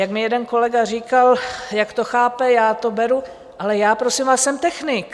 Jak mi jeden kolega říkal, jak to chápe, já to beru, ale já prosím vás jsem technik.